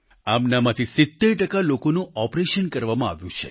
આમનામાંથી 70 ટકા લોકોની સર્જરી કરવામાં આવી છે